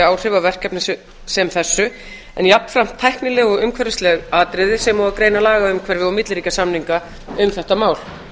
áhrif af verkefni sem þessu en jafnvel tæknileg umhverfisleg atriði sem og að greina lagaumhverfi og milliríkjasamninga um þetta mál